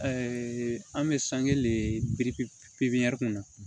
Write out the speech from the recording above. an bɛ sange de piripiri pipiniyɛri kɔnɔ